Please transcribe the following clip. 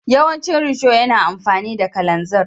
Yawancin risho yana amfani da kalanzir.